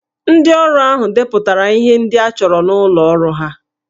Ndị ọrụ ahụ depụtara ihe ndị a chọrọ n'ụlọ ọrụ ha